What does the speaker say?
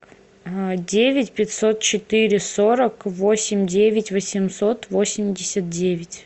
девять пятьсот четыре сорок восемь девять восемьсот восемьдесят девять